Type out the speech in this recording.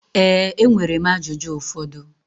Ee, enwere m ajụjụ ụfọdụ.